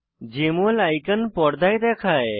JML icon পর্দায় দেখায়